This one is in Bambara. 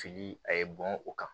Fili a ye bɔn o kan